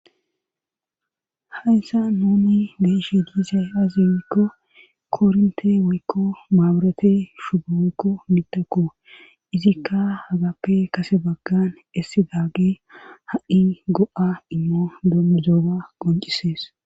Hayssa nuni be'ieshi diizay azi gikko kooronte woykko maabirate shubo woykko mitakko izikka hagappe kase baggan essi daage ha'i go'a immo dommizooga qoncisees